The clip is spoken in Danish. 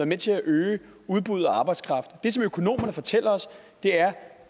med til at øge udbuddet af arbejdskraft det som økonomerne fortæller os